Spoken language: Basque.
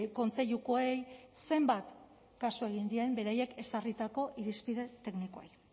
kontseilukoei zenbat kasu egin dien beraiek ezarritako irizpide teknikoei